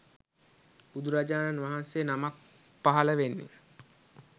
බුදුරජාණන් වහන්සේ නමක් පහළ වෙන්නේ